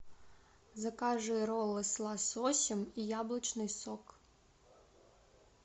закажи роллы с лососем и яблочный сок